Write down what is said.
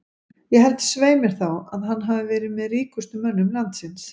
Ég held svei mér þá að að hann hafi verið með ríkustu mönnum landsins.